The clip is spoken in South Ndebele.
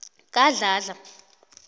kadladla